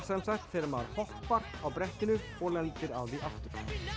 þegar maður hoppar á brettinu og lendir á því aftur